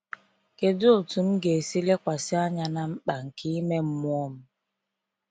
Kedu otu m ga esi lekwasị anya na mkpa nke ime mmụọ m?